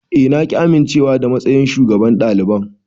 Eh na ƙi amincewa da matsayin shugaban daliban.